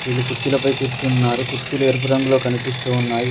వీళ్ళు కుర్చీలపై కూర్చున్నారు కుర్చీలు ఎరుపు రంగులో కనిపిస్తూ ఉన్నాయి.